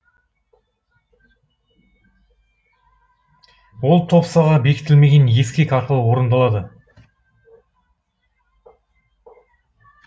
ол топсаға бекітілмеген ескек арқылы орындалады